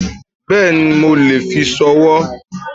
Bẹ́ẹ̀ni mo lè fi sowó